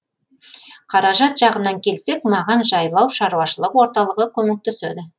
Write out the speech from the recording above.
қаражат жағынан келсек маған жайлау шаруашылық орталығы көмектеседі